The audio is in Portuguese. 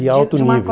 De alto nível.